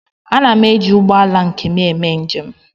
Ana m eji ụgbọ ala nke m eme njem